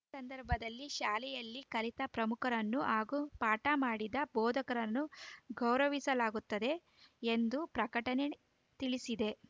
ಸಂದರ್ಭದಲ್ಲಿ ಶಾಲೆಯಲ್ಲಿ ಕಲಿತ ಪ್ರಮುಖರನ್ನು ಹಾಗೂ ಪಾಠ ಮಾಡಿದ ಬೋಧಕರನ್ನು ಗೌರವಿಸಲಾಗುತ್ತದೆ ಎಂದು ಪ್ರಕಟಣೆ ತಿಳಿಸಿದೆ